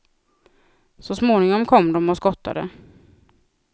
Så småningom kom de och skottade.